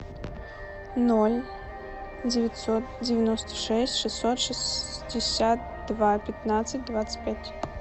ноль девятьсот девяносто шесть шестьсот шестьдесят два пятнадцать двадцать пять